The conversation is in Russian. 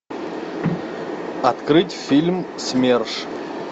открыть фильм смерш